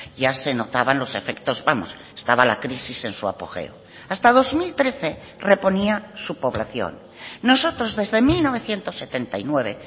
ya se notaban los efectos vamos estaba la crisis en su apogeo hasta dos mil trece reponía su población nosotros desde mil novecientos setenta y nueve